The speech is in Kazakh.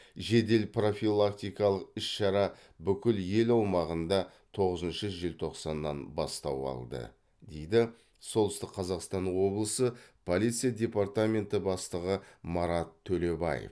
жедел профилактикалық іс шара бүкіл ел аумағында тоғызыншы желтоқсаннан бастау алды дейді солтүстік қазақстан облысы полиция департаменті бастығы марат төлебаев